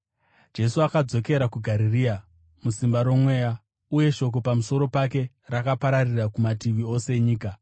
Jesu akadzokera kuGarirea musimba roMweya, uye shoko pamusoro pake rakapararira kumativi ose enyika.